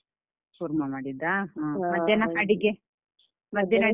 ಕೂರ್ಮ ಮಾಡಿದ್ದಾ ಮಧ್ಯಾಹ್ನ ಅಡಿಗೆ ಮಧ್ಯಾಹ್ನ ಅಡಿಗೆ?